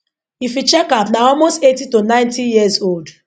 if you check am na almost 80 to 90 years old